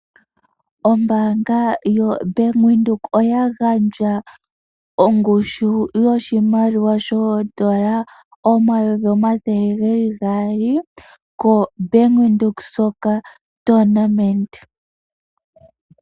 Ombaanga yoBank Windhoek oya gandja ongushu yoshimaliwa N$ 200 000.00 ko Bank Windhoek uudhano wethigathano lyokoopadhi.